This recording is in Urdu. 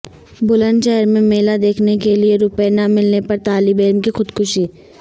بلند شہر میں میلہ دیکھنے کےلئے روپے نہ ملنے پر طالب علم کی خودکشی